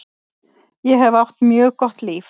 Ég hef átt mjög gott líf.